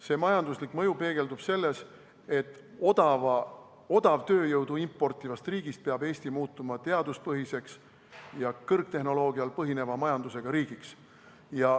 See majanduslik mõju peegeldub selles, et odavtööjõudu importivast riigist peab Eesti muutuma teaduspõhiseks ja kõrgtehnoloogial põhineva majandusega riigiks.